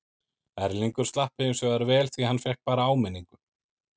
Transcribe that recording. Erlingur slapp hinsvegar vel því hann fékk bara áminningu.